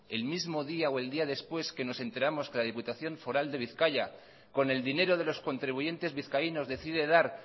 el mismo día o el día después que nos enteramos que la diputación foral de bizkaia con el dinero de los contribuyentes vizcaínos decide dar